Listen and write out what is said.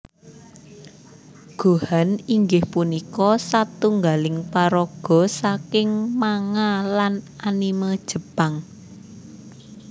Gohan inggih punika satunggaling paraga saking manga lan anime Jepang